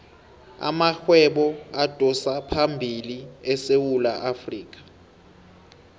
amarhwebo adosaphambili esewula afrikha